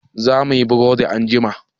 Za muyi burodi anjima.